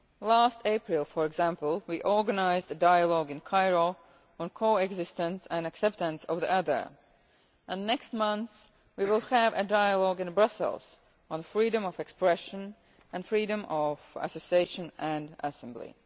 Last April, for example, we organised a dialogue in Cairo on co-existence and acceptance of the other' and next month we will have a dialogue in Brussels on freedom of expression and freedom of association and assembly'.